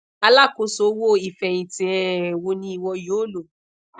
alakoso owo ifẹhinti um wo ni iwọ yoo lo